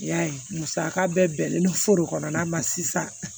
I y'a ye musaka bɛɛ bɛnnen don furu kɔnɔnana ma sisan